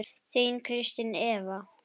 Þín Kristín Eva.